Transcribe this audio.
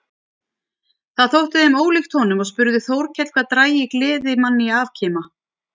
Það þótti þeim ólíkt honum og spurði Þórkell hvað drægi gleðimann í afkima.